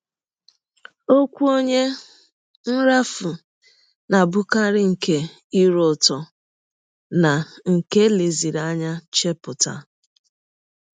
Ọkwụ ọnye nrafu na - abụkarị nke ire ụtọ na nke e leziri anya chepụta.